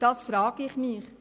Dies frage ich mich.